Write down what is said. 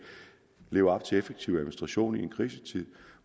leve op til effektiv administration vi en krisetid